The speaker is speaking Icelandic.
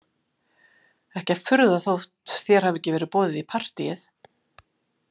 Ekki að furða þótt þér hafi ekki verið boðið í partíið